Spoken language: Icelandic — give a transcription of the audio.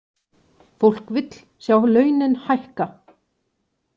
Fólk vill sjá launin hækka